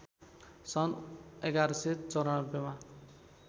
सन् ११९४ मा